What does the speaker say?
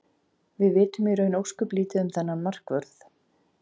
Við vitum í raun ósköp lítið um þennan markvörð.